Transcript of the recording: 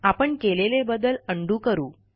आपण केलेले बदल उंडो करा